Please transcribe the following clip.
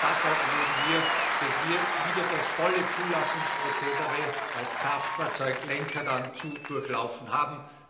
Dabei erleben wir, dass wir wieder das volle Zulassungsprozedere als Kraftfahrzeuglenker zu durchlaufen haben.